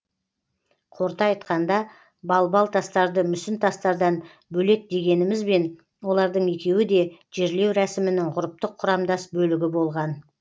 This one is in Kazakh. қорыта айтқанда балбал тастарды мүсін тастардан бөлек дегенімізбен олардың екеуі де жерлеу рәсімінің ғұрыптық құрамдас бөлігі болған